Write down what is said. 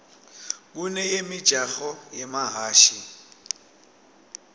kuneyemijaho yemahhashi